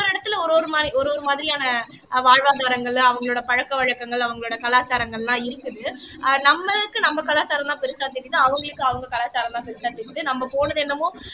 ஒரு இடத்துல ஒரு ஒரு மாதிரி ஒரு ஒரு மாதிரியான அஹ் வாழ்வாதாரங்கள்ல அவங்களோட பழக்க வழக்கங்கள் அவங்களோட கலாச்சாரங்கள்லாம் இருக்குது அஹ் நம்மளுக்கு நம்ம கலாச்சாரம்தான் பெருசா தெரியுது அவங்களுக்கு அவங்க கலாச்சாரம்தான் பெருசா தெரியுது நம்ம போனது என்னமோ